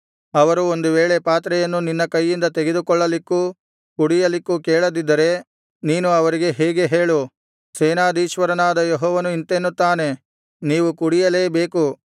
ಅವರು ಒಂದು ವೇಳೆ ಪಾತ್ರೆಯನ್ನು ನಿನ್ನ ಕೈಯಿಂದ ತೆಗೆದುಕೊಳ್ಳಲಿಕ್ಕೂ ಕುಡಿಯಲಿಕ್ಕೂ ಕೇಳದಿದ್ದರೆ ನೀನು ಅವರಿಗೆ ಹೀಗೆ ಹೇಳು ಸೇನಾಧೀಶ್ವರನಾದ ಯೆಹೋವನು ಇಂತೆನ್ನುತ್ತಾನೆ ನೀವು ಕುಡಿಯಲೇ ಬೇಕು